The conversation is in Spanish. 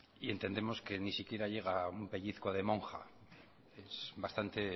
y entendemos que ni siquiera llega un pellizco de monja es bastante